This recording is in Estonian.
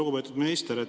Lugupeetud minister!